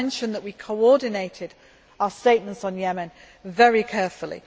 GCC. I mentioned that we coordinated our statements on Yemen very carefully.